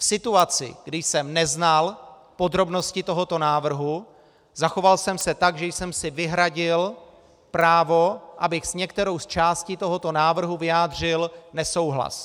V situaci, kdy jsem neznal podrobnosti tohoto návrhu, zachoval jsem se tak, že jsem si vyhradil právo, abych s některou z částí tohoto návrhu vyjádřil nesouhlas.